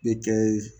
Bɛ kɛ